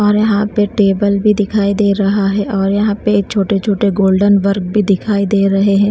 और यहाँ पे टेबल भी दिखाई दे रहा है और यहाँ पे छोटे-छोटे गोल्डन वर्क भी दिखाई दे रहे हैं।